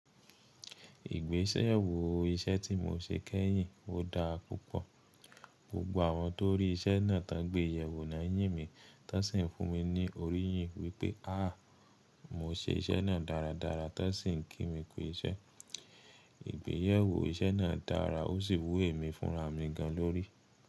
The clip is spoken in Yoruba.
Ìgbésewó iṣẹ́ tí mo ṣe kẹ́yìn, ó dáa púpọ̀. Gbogbo àwọn tó rí iṣẹ́ náà tán gbéyẹ̀wò náà yìn mí, tẹ́ṣìn fún mi ní orí yìn wípé́, à mo ṣe iṣẹ́ náà dáradára, tẹ́ṣìn n kí mi kú iṣẹ́. Ìgbéyàwó iṣẹ́ náà dára ó sì wù mí fúnra mi gan lórí.